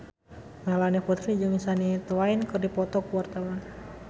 Melanie Putri jeung Shania Twain keur dipoto ku wartawan